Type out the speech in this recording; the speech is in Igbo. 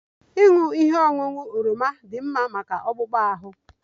Ịṅụ ihe ọṅụṅụ oroma dị mma maka akpụkpọ ahụ